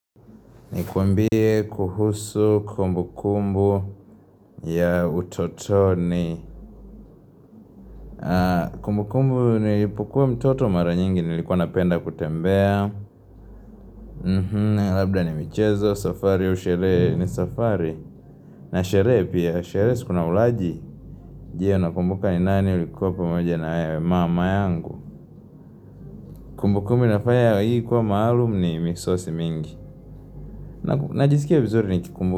Nikuambie kuhusu kumbu kumbu ya utotoni. Kumbu kumbu nilipokuwa mtoto mara nyingi nilikuwa napenda kutembea. Labda ni michezo, safari au sherehe ni safari. Na sherehe pia, sherehe si kuna ulaji. Je, unakumbuka ni nani ulikuwa pamoja na yeye? Mama yangu. Kumbu kumbu inafanya hii kuwa maalum ni misosi mingi. Najisikia vizuri nikumbu.